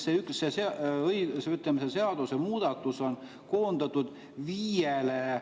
see üks seadusemuudatuse lause viiel real.